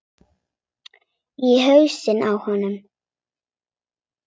Í hausinn á honum.